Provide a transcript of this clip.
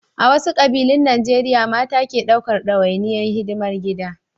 A wasu ƙabilun Najeriya mata ke ɗaukar nauyin hidimar gida.